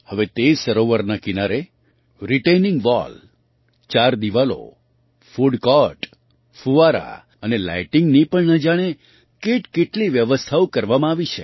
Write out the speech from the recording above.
હવે તે સરોવરના કિનારે રિટેઇનિંગ વૉલ ચાર દીવાલો ફૂડ કૉર્ટ ફૂવારા અને લાઇટિંગની પણ ન જાણે કેટકેટલી વ્યવસ્થાઓ કરવામાં આવી છે